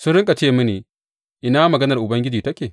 Sun riƙa ce mini, Ina maganar Ubangiji take?